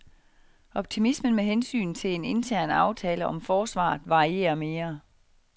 Optimismen med hensyn til en intern aftale om forsvaret varierer mere.